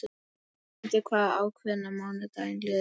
Fundur var ákveðinn að mánuði liðnum.